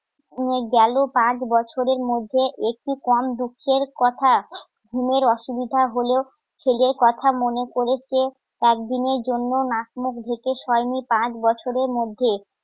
গেলো পাঁচ বছরের মধ্যে একটু কম দুঃখের কথা ঘুমের অসুবিধা হলেও ছেলের কথা মনে পড়েছে একদিনের জন্য নাক মুখ ঢেকে পাঁচ বছরের মধ্যে